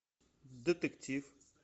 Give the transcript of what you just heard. детектив